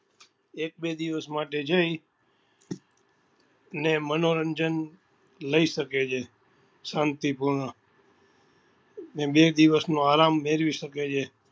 એક બે દિવસ માટે જઈ અને મનોરંજન લઇ શકે છે શાંતિપૂર્ણ ને બે દિવસ નો આરામ મેળવી સકે છે